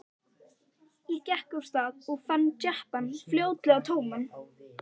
Ég gekk af stað og fann jeppann fljótlega tóman.